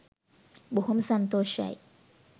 බොහොම සන්තෝෂයි.